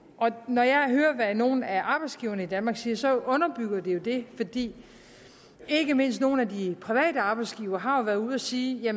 når jeg hører hvad nogle af arbejdsgiverne i danmark siger så underbygger det jo det fordi ikke mindst nogle af de private arbejdsgivere jo har været ude at sige at